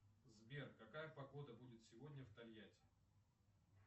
сбер какая погода будет сегодня в тольятти